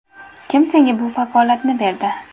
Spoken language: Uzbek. Kim senga bu vakolatni berdi?